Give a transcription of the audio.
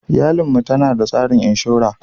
Iyalin mu tanada tsarin inshora.